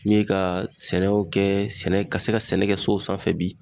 N ye ka sɛnɛw kɛ sɛnɛ ka se ka sɛnɛ kɛ so sanfɛ bi